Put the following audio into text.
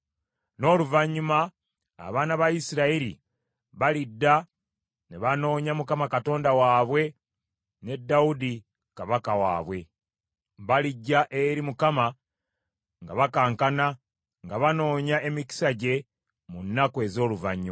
N’oluvannyuma abaana ba Isirayiri balidda ne banoonya Mukama Katonda waabwe ne Dawudi kabaka waabwe. Balijja eri Mukama nga bakankana nga banoonya emikisa gye mu nnaku ez’oluvannyuma.